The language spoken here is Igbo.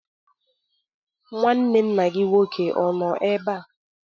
Nnwanne nna gị nnwoke ọ nọ ebe a?